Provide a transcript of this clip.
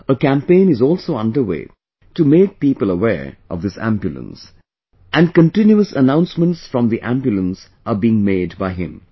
A campaign is also underway to make people aware of this ambulance, and continuous announcements from the ambulance are being made by him